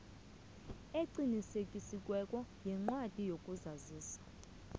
eqinisekisiweko yencwadi yokuzazisa